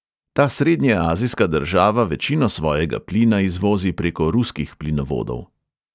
Ta srednjeazijska država večino svojega plina izvozi preko ruskih plinovodov.